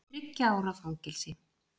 Þriggja ára fangelsi